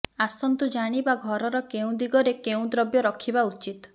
ଆସନ୍ତୁ ଜାଣିବା ଘରର କେଉଁ ଦିଗରେ କେଉଁ ଦ୍ରବ୍ୟ ରଖିବା ଉଚିତ